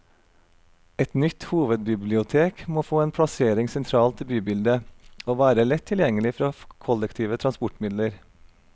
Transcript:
Et nytt hovedbibliotek må få en plassering sentralt i bybildet, og være lett tilgjengelig fra kollektive transportmidler.